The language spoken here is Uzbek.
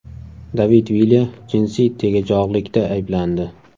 David Vilya jinsiy tegajog‘likda ayblandi.